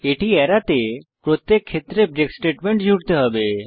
এটি এড়াতে প্রত্যেক ক্ষেত্রে ব্রেক স্টেটমেন্ট যোগ করতে হবে